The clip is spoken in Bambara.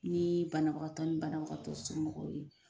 Ni banabagatɔw ni banabagatɔ somɔgɔw ye